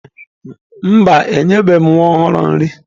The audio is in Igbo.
Mba, enyebeghị m nwa ọhụrụ nri.